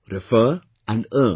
Refer and earn